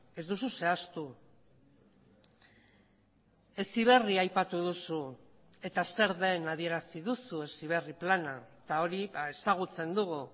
ez duzu zehaztu heziberri aipatu duzu eta zer den adierazi duzu heziberri plana eta hori ezagutzen dugu